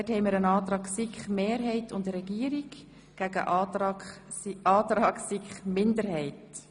Wir haben einen Antrag der SiK-Mehrheit und der Regierung gegen den Antrag der SiK-Minderheit.